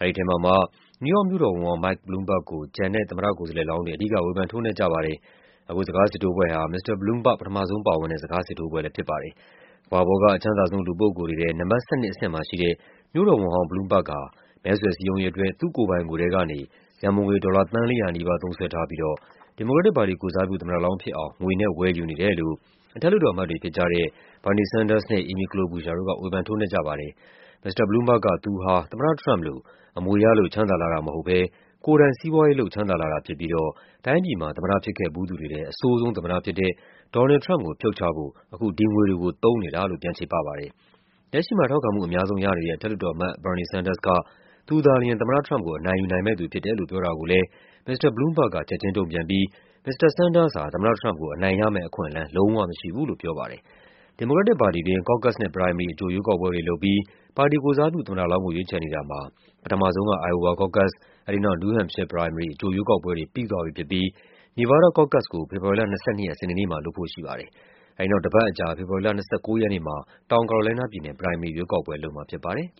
အဲဒီထဲမှာမှ နယူးယောက်မြို့တော်ဝန်ဟောင်း Mike Bloomberg ကို ကျန်တဲ့ သမ္မတကိုယ်စားလှယ်လောင်းတွေ အဓိက ဝေဖန် ထိုးနှက်ကြပါတယ်။ အခုစကားစစ်ထိုးပွဲဟာ မစ္စတာ Bloomberg ပထမဆုံးပါဝင်တဲ့ စကားစစ်ထိုးပွဲလည်း ဖြစ်ပါတယ်။ ကမ္ဘာပေါ်က အချမ်းသာဆုံး လူပုဂ္ဂိုလ်တွေထဲ နံပါတ် ၁၂ အဆင့်မှာရှိတဲ့ မြို့တော်ဝန်ဟောင်း Bloomberg ဟာ မဲဆွယ်စည်းရုံးရေးအတွက် သူ့ကိုယ်ပိုင်ငွေထဲကနေ ရန်ပုံငွေ ဒေါ်လာ သန်း ၄၀၀ နီးပါး သုံးစွဲထားပြီးတော့ ဒီမိုကရက်တစ်ပါတီကိုယ်စားပြု သမ္မတလောင်း ဖြစ်အောင် ငွေနဲ့ဝယ်ယူနေတယ်လို့ အထက်လွှတ်တော်အမတ်တွေဖြစ်ကြတဲ့ Bernie Sanders နဲ့ Amy Klobuchar တို့က ဝေဖန် ထိုးနှက်ကြပါတယ်။ မစ္စတာ Bloomberg က သူဟာ သမ္မတထရမ့်ပ်လို အမွေရလို့ ချမ်းသာလာတာ မဟုတ်ဘဲ ကိုယ်တိုင် စီးပွားရေးလုပ် ချမ်းသာလာတာဖြစ်ပြီးတော့ တိုင်းပြည်မှာ သမ္မတ ဖြစ်ခဲ့ဖူးသူတွေထဲ အဆိုးဆုံးသမ္မတဖြစ်တဲ့ ဒေါ်နယ်လ်ဒ် ထရမ့်ပ်ကို ဖြုတ်ချဖို့ အခု ဒီငွေတွေကို သုံးနေတာလို့ ပြန်ချေပပါတယ်။ လက်ရှိမှာ ထောက်ခံမှု အများဆုံးရနေတဲ့ အထက်လွှတ်တော်အမတ် Bernie Sanders က သူသာလျှင် သမ္မတထရမ့်ပ်ကို အနိုင်ယူနိုင်မယ့်သူ ဖြစ်တယ်လို့ ပြောတာကိုလည်း မစ္စတာ Bloomberg က ချက်ခြင်းတုံ့ပြန်ပြီး မစ္စတာ Sanders ဟာ သမ္မတထရမ့်ပ်ကို အနိုင်ရမယ့်အခွင့်အလန်း လုံးဝမရှိဘူးလို့ ပြောပါတယ်။ ဒီမိုကရက်တစ်ပါတီတွင်း Caucus နဲ့ Primary အကြိုရွေးကောက်ပွဲတွေလုပ်ပြီး ပါတီကိုယ်စားပြု သမ္မတလောင်းကို ရွေးချယ်နေတာမှာ ပထမဆုံး Iowa Caucus ၊ အဲဒီနောက် New Hampshire Primary အကြိုရွေးကောက်ပွဲတွေ ပြီးသွားပြီဖြစ်ပြီး Nevada Caucus ကို ဖေဖော်ဝါရီလ ၂၂ ရက် စနေနေ့မှာ လုပ်ဖို့ရှိပါတယ်။ အဲဒီနောက် တပတ်အကြာ ဖေဖော်ဝါရီလ ၂၉ ရက်နေ့မှာ တောင် ကာရိုလိုင်းနားပြည်နယ် Primary ရွေးကောက်ပွဲလုပ်မှာဖြစ်ပါတယ်